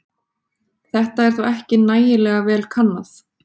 Þetta er þó ekki nægilega vel kannað.